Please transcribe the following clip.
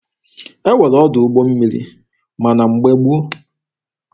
E nwere ọdụ ụgbọ mmiri ma na mgbe gboo.